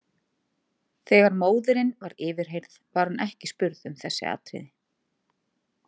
Þegar móðirin var yfirheyrð, var hún ekki spurð um þessi atriði.